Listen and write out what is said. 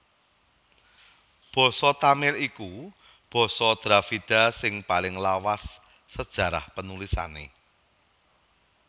Basa Tamil iku basa Dravida sing paling lawas sajarah panulisané